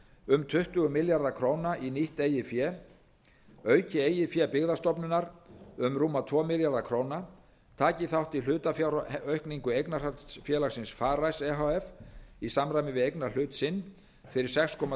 um tuttugu milljarða króna í nýtt eigið fé auki eigið fé byggðastofnunar um rúma tvo milljarða króna taki þátt í hlutafjáraukningu eignarhaldsfélagsins farice e h f í samræmi við eignarhlut sinn fyrir sex komma